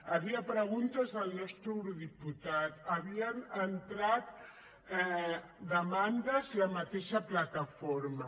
hi havia preguntes del nostre eurodiputat havia entrat demandes la mateixa plataforma